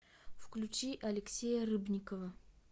включи алексея рыбникова